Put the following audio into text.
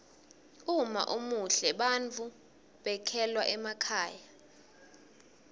uma umuhle bantfu bekhelwa emakhaya